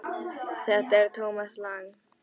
Þetta er Thomas Lang.